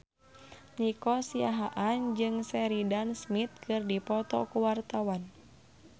Nico Siahaan jeung Sheridan Smith keur dipoto ku wartawan